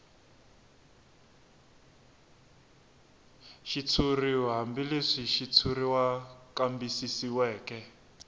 xitshuriw hambileswi xitshuriwa kambisisiweke